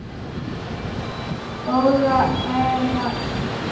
Góð eða slæm?